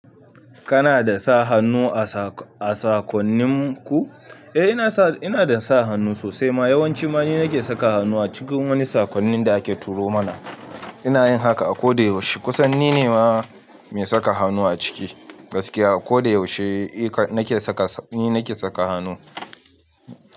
Kana da sa hannu a sakonnin ku? Eh ina da sa hannu sosai ma. Yawanci ma ninake saka hannu a cikin wani sakonnin da ake turo mana. Ina yin haka a koda yaushe. Kusanni ne ma mai saka hannu a ciki. Gaskiya koda yaushe ni nake saka hannu.